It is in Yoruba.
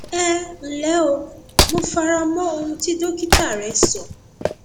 ẹ ǹlẹ o mo fara mọ ohun tí dókítà rẹ sọ